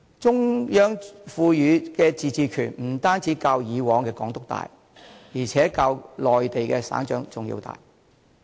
中央賦予特首的自主權不單較以往的港督大，而且較內地的省長更要大。